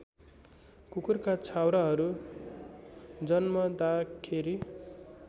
कुकुरका छाउराहरू जन्मदाखेरि